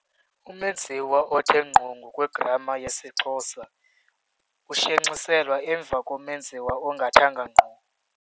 Umenziwa othe ngqo ngokwegrama yesiXhosa ushenxiselwa emva komenziwa ongathanga ngqo.